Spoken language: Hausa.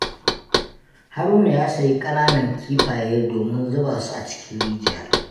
Haruna ya sayi ƙananan kifaye domin zuba su a cikin rijiya.